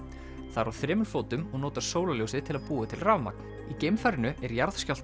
það er á fjórum fótum og notar sólarljósið til að búa til rafmagn í geimfarinu er